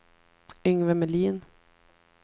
Yngve Melin